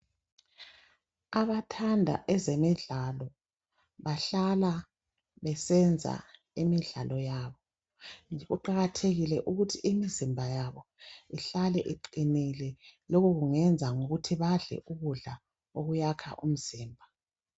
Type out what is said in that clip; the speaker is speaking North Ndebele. Abathanda ezemidlalo bahlala besenza imidlalo yabo kuqakathekile ukuthi imizimba yabo ihlale iqinile. Lokho bangakwenza ngokudla ukudla okwakha umzimba.